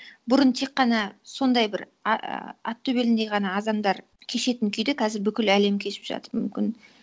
бұрын тек қана сондай бір аттөбеліндей ғана адамдар кешетін күйді қазір бүкіл әлем кешіп жатыр мүмкін